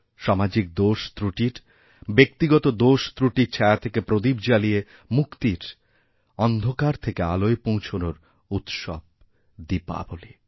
সামাজিক দোষত্রুটির ব্যক্তিগত দোষত্রুটির ছায়াথেকে প্রদীপ জ্বালিয়ে মুক্তির অন্ধকার থেকে আলোয় পৌঁছনোর উৎসব দীপাবলী